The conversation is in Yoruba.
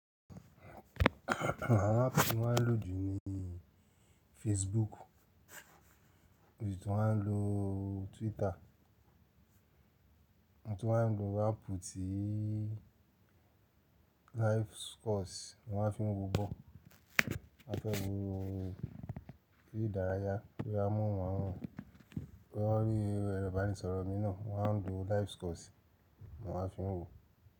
Wọn á fi wọ́n lò ju ní Facebook, bí ti wọ́n á lò Twitter, bí ti wọ́n á lò Apple ti Livescores ni wọ́n á fi ń wò bọ́. Wọ́n fẹ́ gbé orí ìdárayá pé a mún wọ́n hàn, pé ọ rí ẹrọ ìbánisọ̀rọ̀ mi náà, wọ́n á ń lo Livescores ni wọ́n á fi ń wò.